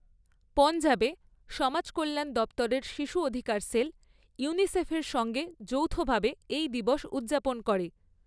পঞ্জাবে, সমাজ কল্যাণ দপ্তরের শিশু অধিকার সেল ইউনিসেফের সঙ্গে যৌথভাবে এই দিবস উদযাপন করে।